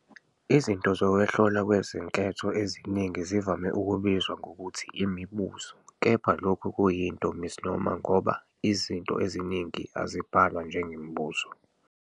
Izinto zokuhlolwa kwezinketho eziningi zivame ukubizwa ngokuthi "imibuzo," kepha lokhu kuyinto misnomer ngoba izinto eziningi azibhalwa njengemibuzo.